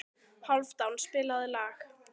Hálfdán, spilaðu lag.